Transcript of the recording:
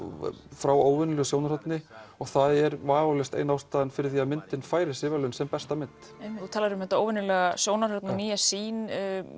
frá óvenjulegu sjónarhorni það er vafalaust ein ástæðan fyrir því að myndin fær þessi verðlaun sem besta mynd þú talar um þetta óvenjulega sjónarhorn og nýja sýn